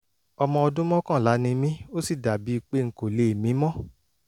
ọmọ ọdún mọ́kànlá ni mí ó sì dàbí pé n kò lè mí mọ́